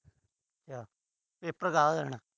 ਅੱਛਾ। ਪੇਪਰ ਦੇਣ।